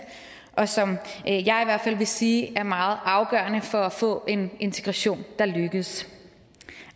og som jeg i hvert fald vil sige er meget afgørende for at få en integration der lykkes